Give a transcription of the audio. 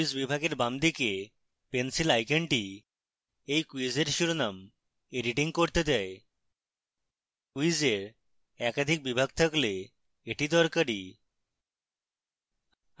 quiz বিভাগের বামদিকে pencil আইকনটি এই ক্যুইজের শিরোনাম এডিটিং করতে দেয়